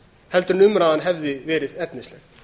heldur en umræðan hefði verið efnisleg